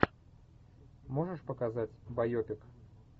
можешь показать байопик